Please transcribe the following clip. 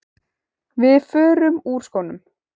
Við förum úr skónum.